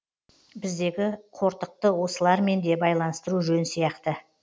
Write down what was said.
біздегі қортықты осылармен де байланыстыру жөн сияқты